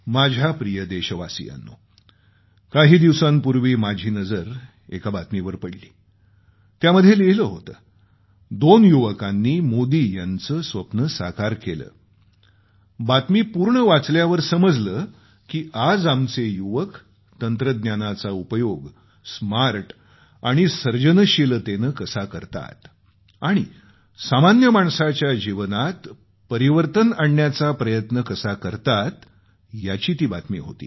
माझ्या प्रिय देशवासियांनो काही दिवसांपूर्वी माझी नजर एका बातमीवर पडली त्यामध्ये लिहिले होते दोन युवकांनी मोदी यांचं स्वप्न साकार केलं बातमी पूर्ण वाचल्यावर समजलं की आज आमचे युवक तंत्रज्ञानाचा उपयोग स्मार्ट आणि सर्जनशीलतेनं कसा करतात आणि सामान्य माणसाच्या जीवनात परिवर्तन आणण्याचा प्रयत्न कसा करतात याची ती बातमी होती